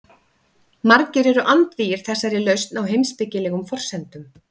Margir eru andvígir þessari lausn á heimspekilegum forsendum.